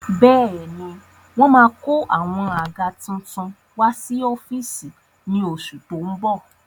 Bẹ́ẹ̀ni wọ́n máa kó àwọn àga tuntun wá sí ọ́fíìsì ní oṣù tó ń bọ̀